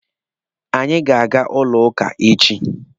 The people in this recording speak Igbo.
Anyị ga-aga ụlọ ụka echi.